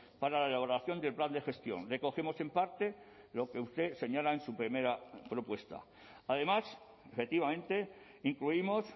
para la elaboración del plan de gestión recogemos en parte lo que usted señala en su primera propuesta además efectivamente incluimos